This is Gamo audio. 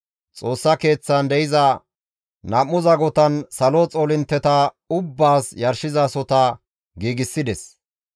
Xoossa Keeththan de7iza nam7u zagotan salo xoolintteta ubbaas yarshizasohota giigsides.